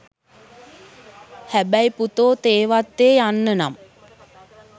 හැබැයි පුතෝ තේවත්තේ යන්න නම්